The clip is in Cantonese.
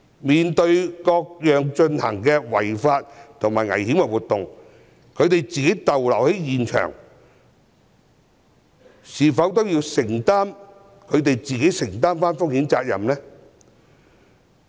面對各種違法及危險活動，他們在現場逗留是否也要自行承擔風險責任呢？